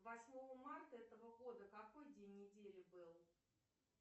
восьмого марта этого года какой день недели был